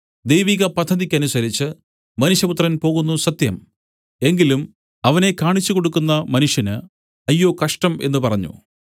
ദൈവിക പദ്ധതിക്കനുസരിച്ച് മനുഷ്യപുത്രൻ പോകുന്നു സത്യം എങ്കിലും അവനെ കാണിച്ചു കൊടുക്കുന്ന മനുഷ്യന് അയ്യോ കഷ്ടം എന്നു പറഞ്ഞു